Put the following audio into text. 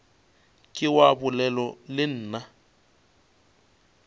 ke wa bolela le nna